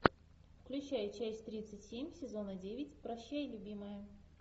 включай часть тридцать семь сезона девять прощай любимая